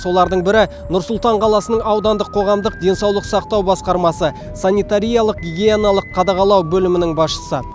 солардың бірі нұр сұлтан қаласының аудандық қоғамдық денсаулық сақтау басқармасы санитариялық гигиеналық қадағалау бөлімінің басшысы